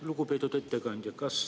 Lugupeetud ettekandja!